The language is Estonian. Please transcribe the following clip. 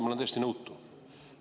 Ma olen täiesti nõutu.